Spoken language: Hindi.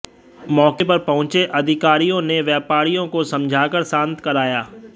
मौके पर पहुंचे अधिकारियों ने व्यापारियों को समझाकर शांत कराया